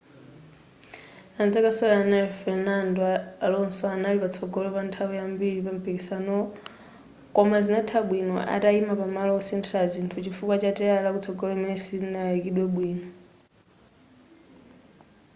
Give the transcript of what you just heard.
anzake osewera naye fernando alonso anali patsogolo pa nthawi yambiri pampikisanowo koma zinatha bwino atayima pa malo osinthila zinthu chifukwa cha teyala lakutsogolo limene silinayikidwe bwino